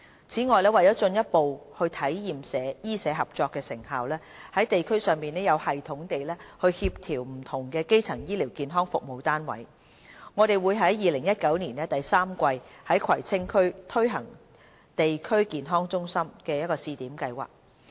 此外，為進一步體驗醫社合作的成效，在地區上有系統地協調不同的基層醫療健康服務單位，我們會於2019年第三季在葵青區推行地區康健中心試點計劃。